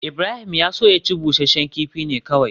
Ibrahim ya so ya ci busasshen kifi ne kawai